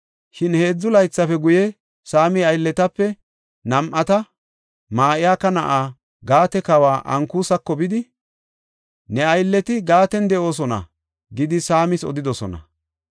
Shin heedzu laythafe guye, Saami aylletape nam7ati Ma7ika na7aa, Gaate kawa Ankusako bidi, “Ne aylleti Gaaten de7oosona” gidi Saamas odidosona.